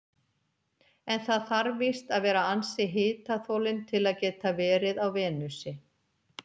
En það þarf víst að vera ansi hitaþolinn til að geta verið á Venusi.